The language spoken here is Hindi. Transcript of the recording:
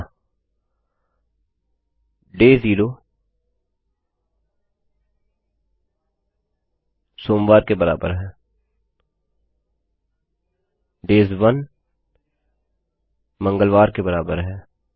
अतः डेज ज़ेरो इक्वल्स Mondayशून्य दिन सोमवार के बराबर है डेज ओने इक्वल्स ट्यूसडे एक दिन मंगलवार के बराबर है